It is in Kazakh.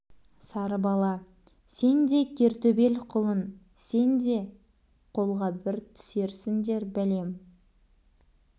сары бала сен де кер төбел құлын сен де қолға бір түсерсіндер бәлем